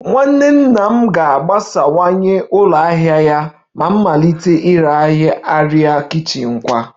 Nwanne nna m ga-agbasawanye ụlọ ahịa ya ma malite ire arịa kichin kwa